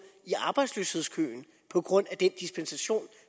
i arbejdsløshedskøen på grund af den dispensation